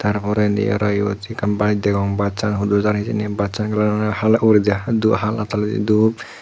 ta poredi aro yot ekkan bayek degong bassan hudu jar hijeni bassan kalaran oley hala uguredi hala toledi dup.